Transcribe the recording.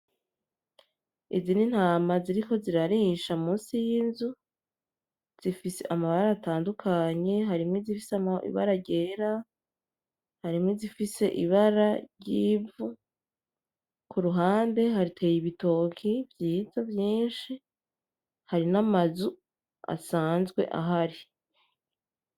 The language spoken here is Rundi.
Izi ni intama ziriko zirarisha musi y’inzu zifise amabara atandukanye harimwo izifise ibara ryera, harimwo izifise ibara ryivu kuruhande hateye ibitoki vyiza vyishi hari n’amazu asanzwe ahari.